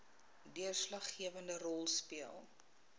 deurslaggewende rol speel